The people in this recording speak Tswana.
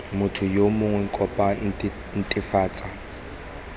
motho yo mongwe kopo netefatsa